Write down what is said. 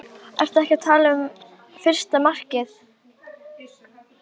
Fleygði Björn sér í heysátu og sofnaði skjótt.